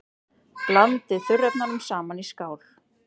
Blandið þurrefnunum saman í skál.